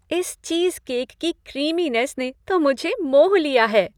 इस चीज़केक की क्रीमीनेस ने तो मुझे मोह लिया है।